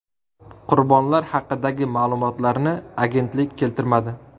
Qurbonlar haqidagi ma’lumotlarni agentlik keltirmadi.